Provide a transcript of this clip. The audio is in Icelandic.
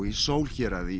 í Sool héraði